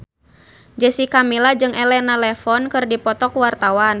Jessica Milla jeung Elena Levon keur dipoto ku wartawan